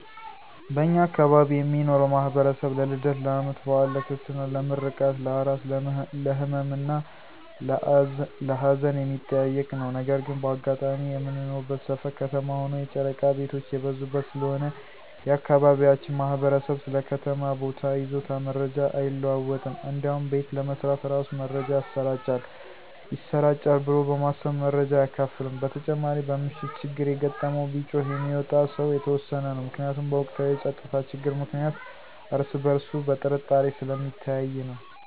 በእኛ አካባቢ የሚኖረው ማህበረሰብ ለልደት፣ ለአመት በአል፣ ለክርስትና፣ ለምረቃት፣ ለአራስ፣ ለህመም እና ለአዘን የሚጠያየቅ ነው። ነገር ግን በአጋጣሚ የምንኖርበት ሰፈር ከተማ ሆኖ የጨረቃ ቤቶች የበዙበት ስለሆነ የአካባቢያችን ማህበረሰብ ስለ ከተማ ቦታ ይዞታ መረጃ አይለዋወጥም እንዲያውም ቤት ለመስራት እራሱ መረጃ ይሰራጫል ብሎ በማሰብ መረጃ አያካፍልም። በተጨማሪ በምሽት ችግር የገጠመው ቢጮህ የሚወጣ ሰው የተወሰነ ነው። ምክንያቱም በወቅታዊ የፀጥታ ችግር ምክንያት እርስ በእርሱ በጥርጣሬ ስለሚተያይ ነው።